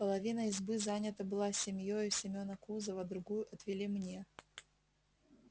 половина избы занята была семьёю семена кузова другую отвели мне